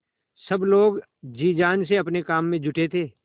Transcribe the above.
सब लोग जी जान से अपने काम में जुटे थे